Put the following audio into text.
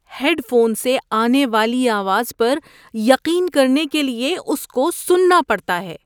Head phone سے آنے والی آواز پر یقین کرنے کے لیے اس کو سننا پڑتا ہے۔